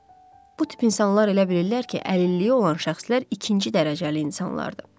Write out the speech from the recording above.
Bu tip insanlar elə bilirlər ki, əlilliyi olan şəxslər ikinci dərəcəli insanlardır.